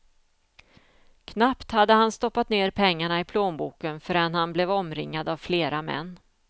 Knappt hade han stoppat ner pengarna i plånboken förrän han blev omringad av flera män.